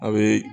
A bɛ